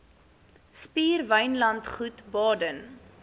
spier wynlandgoed baden